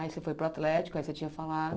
Aí você foi para o Atlético, aí você tinha falado.